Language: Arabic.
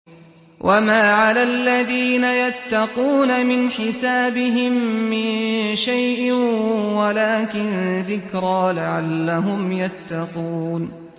وَمَا عَلَى الَّذِينَ يَتَّقُونَ مِنْ حِسَابِهِم مِّن شَيْءٍ وَلَٰكِن ذِكْرَىٰ لَعَلَّهُمْ يَتَّقُونَ